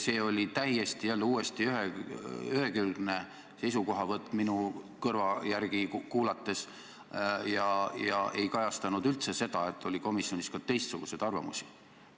See oli jälle täiesti ühekülgne seisukohavõtt minu arusaamise järgi ega kajastanud üldse seda, et komisjonis oli ka teistsuguseid arvamusi.